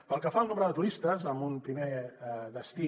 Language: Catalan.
pel que fa al nombre de turistes amb un primer destí